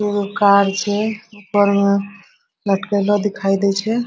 एगो कार छै ऊपर मे लटकेलो दिखाई दे छै।